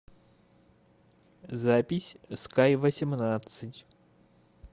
запись скайвосемнадцать